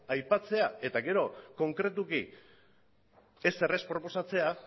aipatzea eta gero konkretuki ezer ez proposatzea